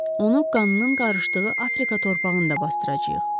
Onu qanının qarışdığı Afrika torpağında basdıracağıq.